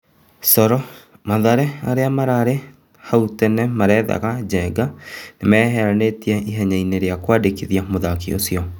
(Coro)Mathare, arĩa hau tene marethaga Njenga nĩmeyeheretie ihenyainĩ rĩa kwandĩkithia mũthaki ũcio.